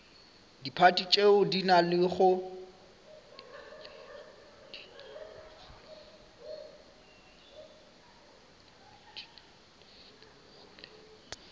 diphathi tšeo di nago le